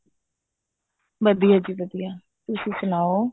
ਵਧੀਆ ਜੀ ਵਧੀਆ ਤੁਸੀਂ ਸੁਨਾਓ